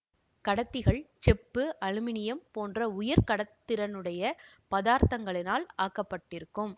கடத்திகள் செப்பு அலுமினியம் போன்ற உயர் கடத்துதிறனுடைய பதார்த்தங்களால் ஆக்கப்பட்டிருக்கும்